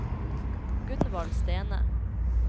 Gunvald Stene